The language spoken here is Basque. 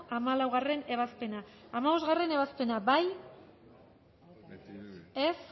hamalaugarrena ebazpena hamabostgarrena ebazpena bozkatu dezakegu